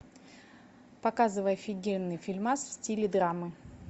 показывай офигенный фильмас в стиле драмы